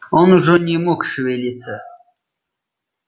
он уже не мог шевелиться